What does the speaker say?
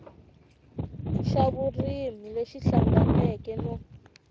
xa vurimi lexi hlanganeke no